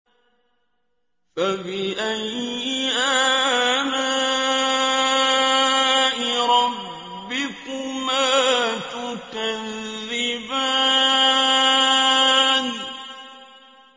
فَبِأَيِّ آلَاءِ رَبِّكُمَا تُكَذِّبَانِ